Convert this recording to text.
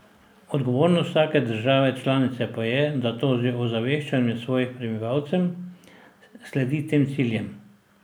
Odgovornost vsake države članice pa je, da tudi z ozaveščanjem svojih prebivalcem sledi tem ciljem.